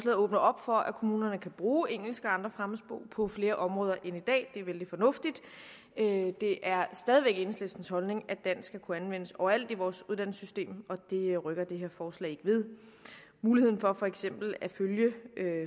åbner op for at kommunerne kan bruge engelsk og andre fremmedsprog på flere områder end i dag det er vældig fornuftigt det er stadig væk enhedslistens holdning at dansk skal kunne anvendes overalt i vores uddannelsessystem og det rykker det her forslag ikke ved muligheden for for eksempel at følge